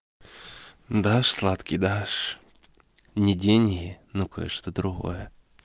да сладкий дашь не деньги но кое-что другое